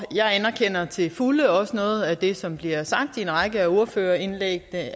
jeg anerkender til fulde og også noget af det som er blevet sagt i en række af ordførerindlæggene